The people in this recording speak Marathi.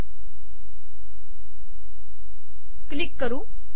हे क्लिक करू